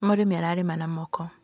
Mũrĩmi ararima na moko